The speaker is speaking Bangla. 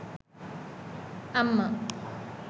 আম্মা